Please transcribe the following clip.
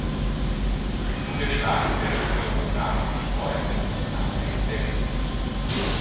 Tudi druge članice želijo ubraniti svoje tradicionalne interese.